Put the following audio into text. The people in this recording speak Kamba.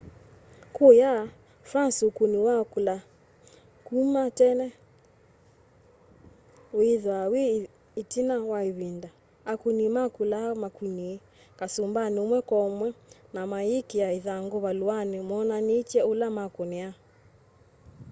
kũya france ũkũnĩ wa kũla kũma tene wĩthaa wĩ ĩtina wa ĩvĩnda : akũnĩ makũla makũnĩ kasũmbanĩ ũmwe kwo mwe na mayĩkĩa ĩthangũ valũanĩ monanĩtye ũla makũnĩa